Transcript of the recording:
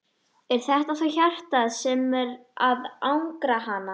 Er þetta þá hjartað sem er að angra hana?